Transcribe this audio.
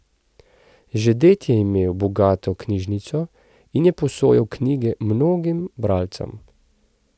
Že ded je imel bogato knjižnico in je posojal knjige mnogim bralcem.